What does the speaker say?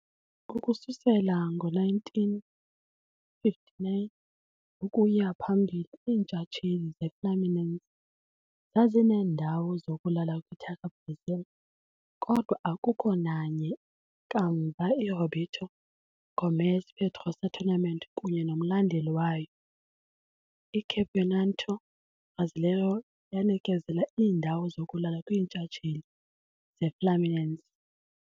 Ukususela ngo-1959 ukuya phambili, iintshatsheli zeFluminense zazineendawo zokulala kwiTaça Brasil, kodwa akukho nanye kamva iRoberto Gomes Pedrosa tournament kunye nomlandeli wayo, iCampeonato Brasileiro, yanikezela iindawo zokulala kwiintshatsheli zeFluminense.